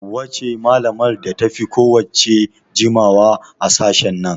Hauwa ce malamar da ta fi kowa jimawa a sashen nan